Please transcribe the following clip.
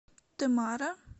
темара